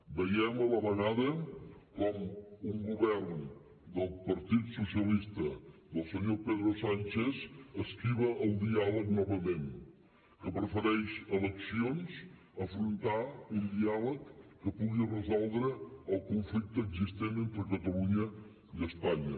veiem a la vegada com un govern del partit socialista del senyor pedro sánchez esquiva el diàleg novament que prefereix eleccions a afrontar un diàleg que pugui resoldre el conflicte existent entre catalunya i espanya